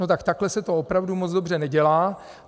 No tak takhle se to opravdu moc dobře nedělá.